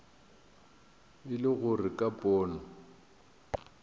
e le gore ka pono